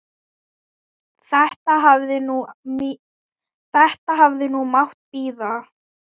Þetta hefði nú mátt bíða.